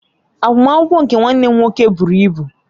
Agbamakwụkwọ nke nwanne m nwoke buru ibu